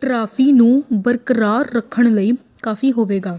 trophy ਨੂੰ ਬਰਕਰਾਰ ਰੱਖਣ ਲਈ ਕਾਫ਼ੀ ਹੋਵੇਗਾ